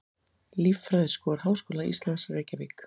Líffræðiskor Háskóla Íslands, Reykjavík.